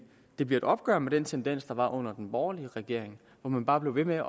det bliver et opgør med den tendens der var under den borgerlige regering hvor man bare blev ved med at